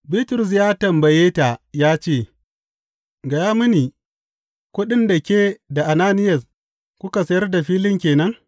Bitrus ya tambaye ta ya ce, Gaya mini, kuɗin da yake da Ananiyas kuka sayar da filin ke nan?